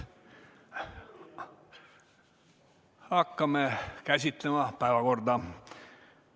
Hakkame päevakorda käsitlema.